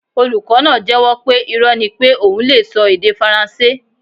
Olukọ naa jẹ́wọ́ pe irọ́ ni pé oun lee sọ èdè faransé